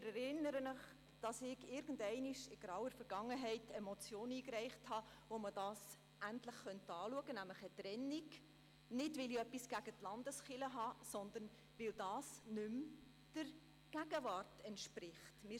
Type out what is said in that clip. Zur Erinnerung: Irgendwann in grauer Vergangenheit reichte ich eine Motion ein, mit der man eine Trennung endlich einmal hätte anschauen können – nicht, weil ich etwas gegen die Landeskirche hätte, sondern weil das nicht mehr der Gegenwart entspricht ().